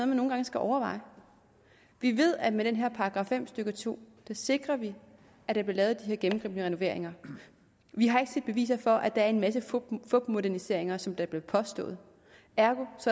man nogle gange skal overveje vi ved at med den her § fem stykke to sikrer vi at der bliver lavet de her gennemgribende renoveringer vi har ikke set beviser for at der er en masse fupmoderniseringer som det bliver påstået ergo